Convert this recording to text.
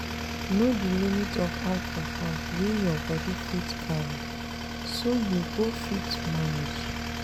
Know di limit of alcohol wey your body fit carry so you go fit manage